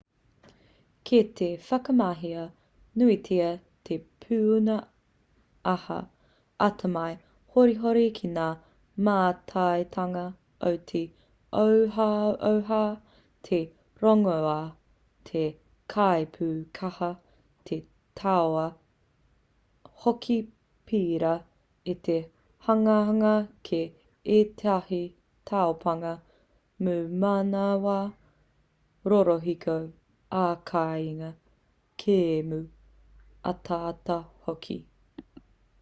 kei te whakamahia nuitia te pūnaha atamai horihori ki ngā mātaitanga o te ohaoha te rongoā te kaipūkaha te tauā hoki pērā i te hanganga ki ētahi taupānga pūmanawa rorohiko ā-kāinga kēmu ataata hoki